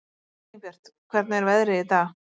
Elínbjört, hvernig er veðrið í dag?